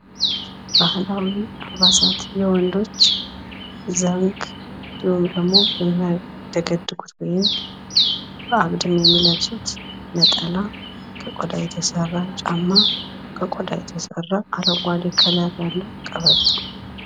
ባህላዊ አልባሳት የወንዶች ዘንግ እንዲሁም ደሞ የሚያደገድጉት ወይም አግድም የሚለብሱት ነጠላ ከቆዳ የተሰራ ጫማ ከቆዳ የተሰራ አረጓዴ ከለር ያለው ቀበቶ።